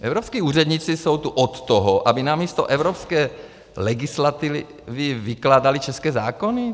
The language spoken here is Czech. Evropští úředníci jsou tu od toho, aby na místo evropské legislativy vykládali české zákony?